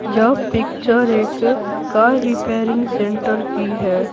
यह पिक्चर एक car repairing centre की है।